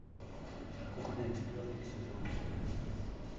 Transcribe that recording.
кухня четвертый сезон